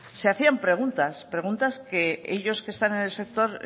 se hacían preguntas preguntas que ellos que están en el sector